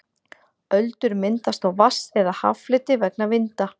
öldur myndast á vatns eða haffleti vegna vinda